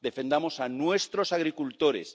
Defendamos a nuestros agricultores.